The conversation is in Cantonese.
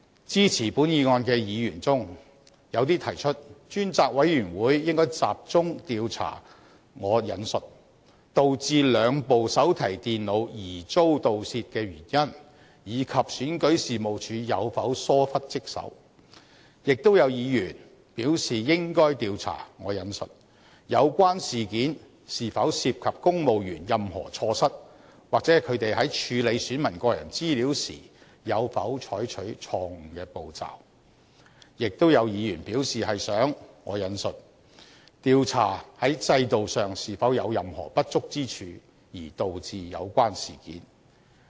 支持本議案的議員中，有些提出專責委員會應該集中調查"導致兩部手提電腦疑遭盜竊的原因，以及選舉事務處有否疏忽職守"，亦有議員表示應該調查"有關事件是否涉及公務員任何錯失，或他們在處理選民個人資料時有否採取錯誤的步驟"，亦有議員表示是想"調查在制度上是否有任何不足之處而導致有關事件"。